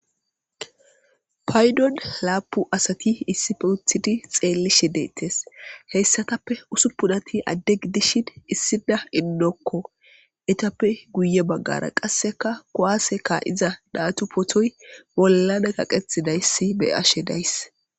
Paydon laapu asati issife uthidi xeellishe deettes heyssatappe usu pudati addegi dishin issida innokko etappe guye baggara qasseka kowase ka,iza daatu potoy bollana kaqethidayssi be ashe dayss.